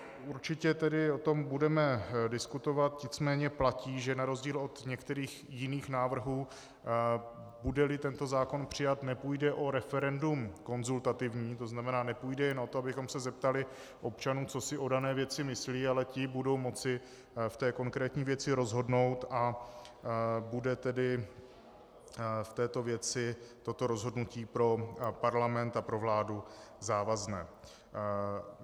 Určitě tedy o tom budeme diskutovat, nicméně platí, že na rozdíl od některých jiných návrhů, bude-li tento zákon přijat, nepůjde o referendum konzultativní, to znamená, nepůjde jen o to, abychom se zeptali občanů, co si o dané věci myslí, ale ti budou moci v konkrétní věci rozhodnout, a bude tedy v této věci toto rozhodnutí pro parlament a pro vládu závazné.